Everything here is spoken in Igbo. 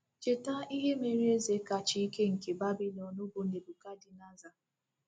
Cheta ihe mere eze kacha ike nke Babilọn, bụ́ Nebukadneza.